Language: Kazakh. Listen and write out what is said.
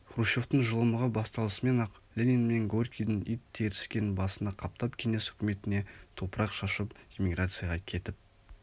хрущевтің жылымығы басталысымен-ақ ленин мен горькийдің ит теріскн басына қаптап кеңес үкіметіне топырақ шашып имиграцияға кетіп